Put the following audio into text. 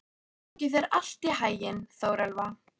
Gangi þér allt í haginn, Þórelfa.